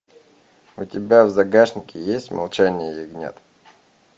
у тебя в загашнике есть молчание ягнят